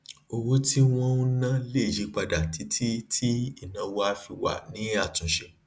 owó tí wón ń ná lè yípadà títí tí ìnáwó á fi wà ní àtúnṣe